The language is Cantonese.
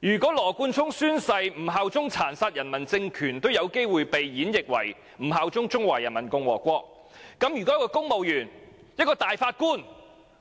如果羅冠聰議員宣誓不效忠殘殺人民的政權，也可能被演繹為不效忠中華人民共和國，那麼公務員或大法官